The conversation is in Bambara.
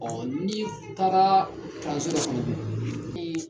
n'i taara k'a n sɔrɔ